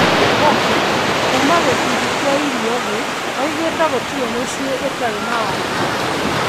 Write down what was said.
Gerald Bourke, kuuma gĩkundi kĩa irio thĩĩ ,augite:Gũtiri mũciĩ ĩtari na wagagu